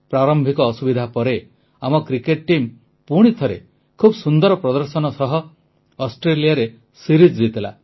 ପ୍ରାରମ୍ଭିକ ଅସୁବିଧା ପରେ ଆମ କ୍ରିକେଟ ଟିମ୍ ପୁଣିଥରେ ଖୁବ ସୁନ୍ଦର ପ୍ରଦର୍ଶନ ସହ ଅଷ୍ଟ୍ରେଲିଆରେ ସିରିଜ ଜିତିଲା